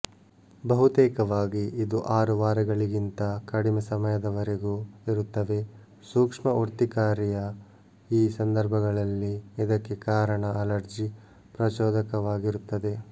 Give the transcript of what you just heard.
ಬಹುತೇಕವಾಗಿ ಇದು ಆರು ವಾರಗಳಗಳಿಗಿಂತ ಕಡಿಮೆ ಸಮಯದವರೆಗೂ ಇರುತ್ತವೆ ಸೂಕ್ಷ್ಮ ಉರ್ತಿಕಾರಿಯ ಈ ಸಂದರ್ಭಗಳಲ್ಲಿ ಇದಕ್ಕೆ ಕಾರಣ ಅಲರ್ಜಿ ಪ್ರಚೋದಕವಾಗಿರುತ್ತದೆ